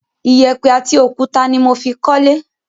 Iyẹ̀pẹ̀ àti òkúta ni mo fi kólé.